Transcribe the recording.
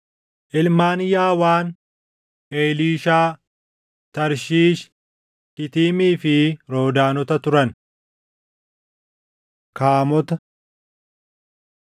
Ilmaan Yaawaan: Eliishaa, Tarshiish, Kitiimii fi Roodaanota turan. Kaamota 1:8‑16 kwf – Uma 10:6‑20